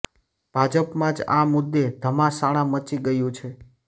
ભાજપમાં જ આ મુદ્દે ઘમાસાણ મચી ગયુ છે